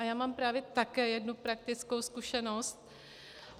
A já mám právě také jednu praktickou zkušenost.